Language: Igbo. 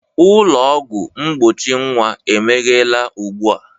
Ụlọ ọgwụ mgbochi nwa emeghela ugbu a